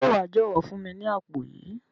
Se wa jọwọ fún mi ni àpò yìí?